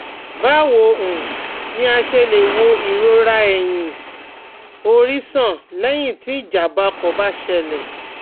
Báwo um ni a ṣe lè wo irora eyin, ori san lẹ́yìn tí ijàǹbá ọkọ̀ bá ṣẹlẹ̀?